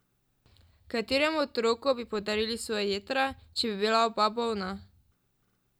Kateremu otroku bi podarili svoja jetra, če bi bila oba bolna?